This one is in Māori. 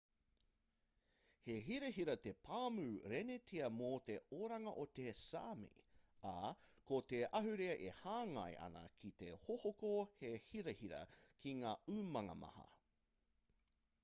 he hirahira te pāmu renetia mō te oranga o te sāmi ā ko te ahurea e hāngai ana ki te hohoko he hirahira ki ngā umanga maha